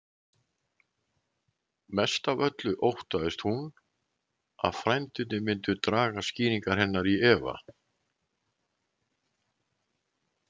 Mest af öllu óttaðist hún að frændurnir myndu draga skýringar hennar í efa.